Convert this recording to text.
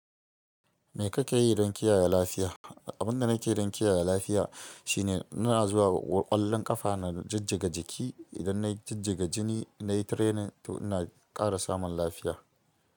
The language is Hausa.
Me kake yi don kiyaye lafiya? Abin da nake yi don kiyaye lafiya shine ina zuwa ƙwallon ƙafa na jijjiga jiki. Idan na jijjiga jiki, na yi training to ina ƙara samun lafiya.